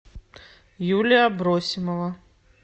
юлия абросимова